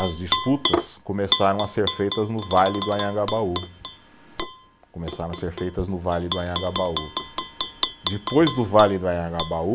as disputas começaram a ser feitas no vale do Anhangabaú, começaram a ser feitas no vale do Anhangabaú, depois do vale do Anhangabaú